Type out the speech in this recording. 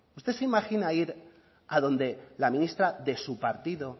usted se imagina ir adonde la ministra de su partido